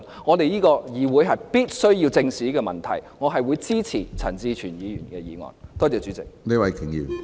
我希望稍後會有時間再就這個議題，與陳志全議員或其他朋友再討論。